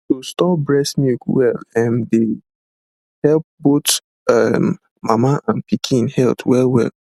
to store breast milk well ehm dey help better both um mama and pikin health wellwell